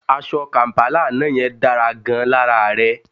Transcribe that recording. Aṣọ kàm̀pálà àná yẹn dára gan-an lára rẹ